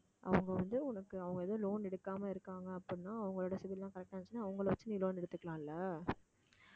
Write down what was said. அவங்க வந்து உனக்கு அவங்க எதுவும் loan எடுக்காம இருக்காங்க அப்படின்னா அவங்களோட CIBIL எல்லாம் correct ஆ இருந்துச்சுன்னா அவங்களை வச்சு நீ loan எடுத்துக்கலாம் இல்ல